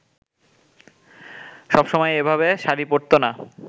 সবসময় এভাবে শাড়ি পরতো না